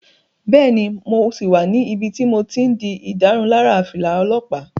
Bẹ́ẹ̀ni, mo sì wà níbi tí mo ti n di ìdárunlárà fìlà olọ́pàá